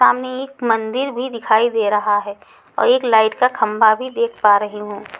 सामने एक मंदिर भी दिखाई दे रहा है और एक लाइट का खंभा भी देख पा रही हूं।